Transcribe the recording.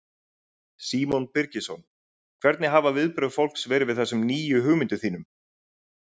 Símon Birgisson: Hvernig hafa viðbrögð fólks verið við þessum nýju hugmyndum þínum?